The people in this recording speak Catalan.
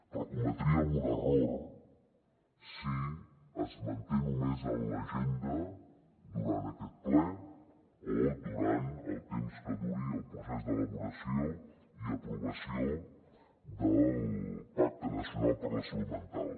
però cometríem un error si es manté només en l’agenda durant aquest ple o durant el temps que duri el procés d’elaboració i aprovació del pacte nacional per la salut mental